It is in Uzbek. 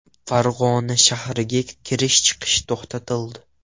Farg‘ona shahriga kirish-chiqish to‘xtatildi.